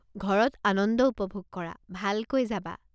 ঘৰত আনন্দ উপভোগ কৰা, ভালকৈ যাবা।